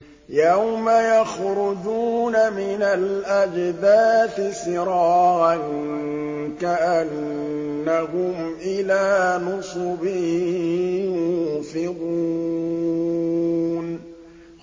يَوْمَ يَخْرُجُونَ مِنَ الْأَجْدَاثِ سِرَاعًا كَأَنَّهُمْ إِلَىٰ نُصُبٍ يُوفِضُونَ